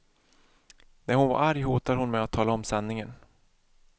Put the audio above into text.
När hon var arg hotade hon med att tala om sanningen.